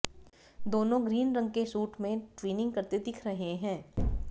दोनों ग्रीन रंग के शूट में ट्विनिंग करते दिख रहे हैं